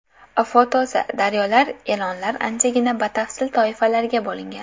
Foto © Daryo E’lonlar anchagina batafsil toifalarga bo‘lingan.